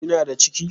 Kina da ciki?